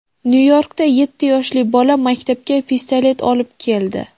Nyu-Yorkda yetti yoshli bola maktabga pistolet olib keldi.